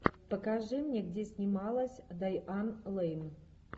покажи мне где снималась дайан лейн